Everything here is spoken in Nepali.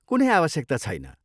कुनै आवश्यकता छैन।